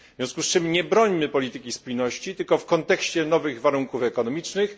W związku z czym nie brońmy polityki spójności tylko w kontekście nowych warunków ekonomicznych.